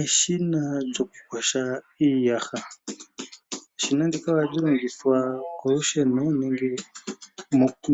Eshina lyoku koha iiyaha, eshina ndika ohali longithwa kolusheno .